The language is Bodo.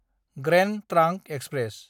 grand trunk express